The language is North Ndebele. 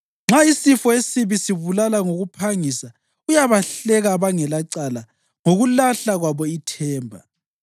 Nxa isifo esibi sibulala ngokuphangisa, uyabahleka abangelacala ngokulahla kwabo ithemba.